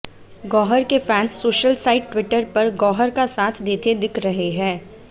गौहर के fans social site Twitter पर गौहर का साथ देते दिख रहे हैं